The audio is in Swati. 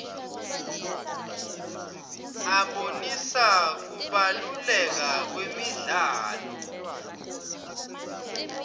abonisa kubaluleka kwemidlalo